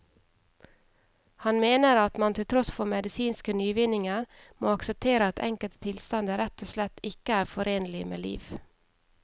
Han mener at man til tross for medisinske nyvinninger må akseptere at enkelte tilstander rett og slett ikke er forenlig med liv.